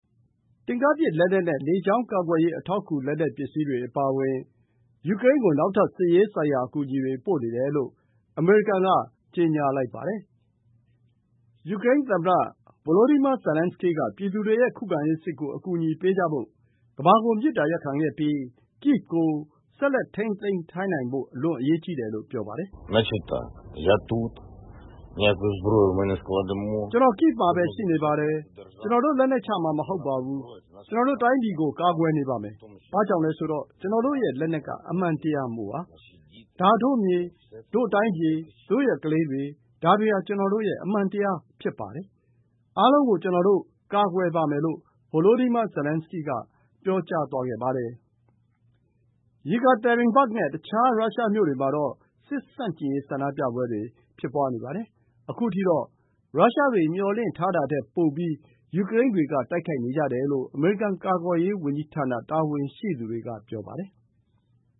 တင့်ကားပစ်လက်နက်နဲ့ လေကြောင်းကာကွယ်ရေး အထောက်အကူ လက်နက်ပစ္စည်းတွေ အပါအဝင် ယူကရိန်းကို နောက်ထပ် စစ်ရေးဆိုင်ရာ အကူအညီတွေ ပို့နေတယ်လို့ အမေရိကန်က ကြေညာလိုက်ပါတယ်။ ယူကရိန်းသမ္မတ Volodymyr Zelenskyy က သူ့ပြည်သူတွေရဲ့ ခုခံရေးစစ်ကို အကူအညီပေးကြဖို့ ကမ္ဘာကို မေတ္တာရပ်ခံခဲ့ပြီး Kyiv ကို ဆက်လက် ထိန်းသိမ်းထားနိုင်ဖို့ အလွန်အရေးကြီးတယ်လို့ ဆိုပါတယ်။ “ကျနော် Kyiv မှာပဲ ရှိနေပါတယ်။ ကျနော်တို့ လက်နက်ချမှာ မဟုတ်ပါဘူး။ ကျနော်တို့တိုင်းပြည်ကို ကာကွယ်နေပါမယ်။ ဘာကြောင့်လဲဆိုတော့ ကျနော်တို့ရဲ့ လက်နက်က အမှန်တရားမို့ပါ။ ဒါတို့မြေ၊ တို့တိုင်းပြည်၊ တို့ရဲ့ကလေးတွေ၊ ဒါတွေဟာ ကျနော်တို့ရဲ့ အမှန်တရား ဖြစ်ပါတယ်။ အားလုံးကို ကျနော်တို့ ကာကွယ်ပါမယ်။” လို့ Volodymyr Zelenskyy က ပြောပါတယ်။ Yekaterinburg နဲ့ တခြား ရုရှားမြို့တွေမှာတော့ စစ်ဆန့်ကျင်ရေး ဆန္ဒပြပွဲတွေ ဖြစ်နေပါတယ်။ အခုထိတော့ ရုရှားတွေ မျှော်လင့်တာထက် ပိုပြီး ယူကရိန်းတွေက တိုက်ခိုက်နေတယ်လို့ အမေရိကန် ကာကွယ်ရေးဝန်ကြီးဌာန တာဝန်ရှိသေူတွေက ပြောပါတယ်။